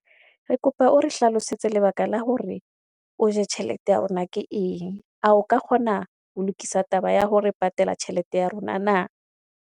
Re kopa o re hlalosetse lebaka la hore, o je tjhelete ya rona ke eng. A ka kgona ho lokisa taba ya ho re patela tjhelete ya rona na.